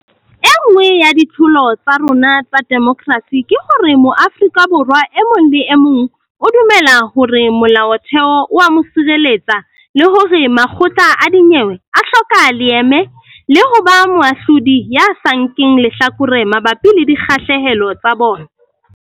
E nngwe ya ditlholo tsa rona tsa demokerasi ke hore Mo-afrika Borwa e mong le e mong o dumela hore Molaotheo o a mo sireletsa le hore makgotla a dinyewe a hloka leeme le ho ba moahlodi ya sa nkeng lehlakore mabapi le dikgahlehelo tsa bona.